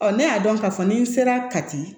Ɔ ne y'a dɔn k'a fɔ n'i sera ka ti